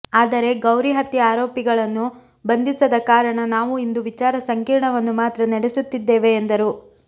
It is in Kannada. ಆದರೆ ಗೌರಿ ಹತ್ಯೆ ಆರೋಪಿಗಳನ್ನು ಬಂಧಿಸದ ಕಾರಣ ನಾವು ಇಂದು ವಿಚಾರ ಸಂಕೀರ್ಣವನ್ನು ಮಾತ್ರ ನಡೆಸುತ್ತಿದ್ದೇವೆ ಎಂದರು